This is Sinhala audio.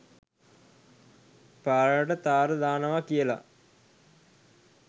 පාරට තාර දානවා කියලා.